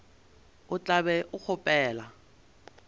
o tla be o kgopela